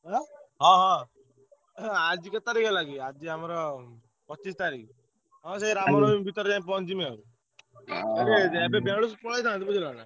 ଅଁ ହଁ ହଁ ଏ ଯୋଉ ଆଜି କେତେ ତାରିଖ୍ ହେଲା କି ଆଜି ଆମର ପଚିଶି ତାରିଖ୍ ହଁ ସେଇ ରାମନବମୀ ଭିତରେ ଯାଇ ପହଁଞ୍ଚିଯିବି ଆଉ। ଏବେ ବେଳେସୁ ପଳେଇଥାନ୍ତି ବୁଝିଲନା।